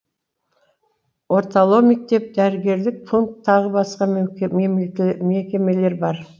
орталау мектеп дәрігерлік пункт тағы басқа мекемелер бар